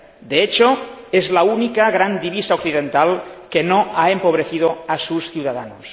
De hecho, es la única gran divisa occidental que no ha empobrecido a sus ciudadanos.